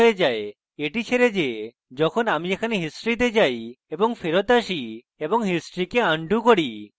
এটি ছেড়ে যে যখন আমি এখানে history তে যাই এবং ফেরৎ আসি এবং history কে undo করি